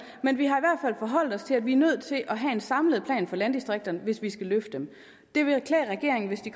men vi har forholdt os til at vi er nødt til at have en samlet plan for landdistrikterne hvis vi skal løfte dem det ville klæde regeringen hvis de